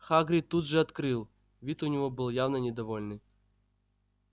хагрид тут же открыл вид у него был явно недовольный